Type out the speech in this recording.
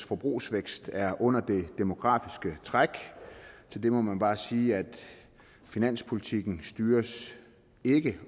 forbrugsvækst er under det demografiske træk til det må man bare sige at finanspolitikken ikke